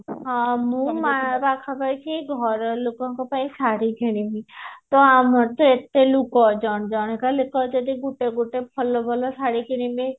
ହଁ ମୁଁ ପାଖାପାଖି ଘର ଲୋକଙ୍କ ପାଇଁ ଶାଢୀ କିଣିବି ତ ଆମର ତ ଏତେ ଲୋକ ଅଛନ୍ତି ଜଣେ କା ଲୁକ ଯଦି ଗୁଟେ ଗୁଟେ ଭଲ ଭଲ ଶାଢୀ କିଣିବି